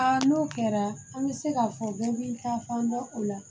n'o kɛra an bɛ se k'a fɔ ko min ka fan bɛ o la